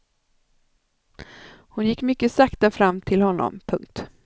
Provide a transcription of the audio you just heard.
Hon gick mycket sakta fram till honom. punkt